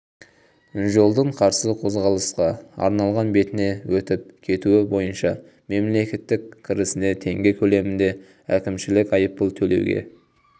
жолдың қарсы қозғалысқа арналған бетіне өтіп кетуі бойынша мемлекет кірісіне теңге көлемінде әкімшілік айыппұл төлеуге